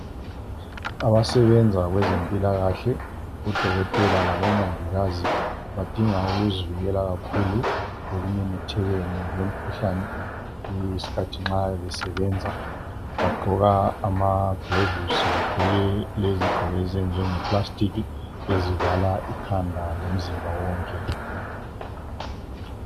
abasebenza kwezempilakahle o dokotela labo mongikazi badinga ukuzivikela kakhulu ekumemethekeni kwemikhuhlane isikhathi nxa besebenza bagqoka amaglovusi bagqoke ezigqoko ezenziwe nge plastic ezivala ikhanda lomzimba wonke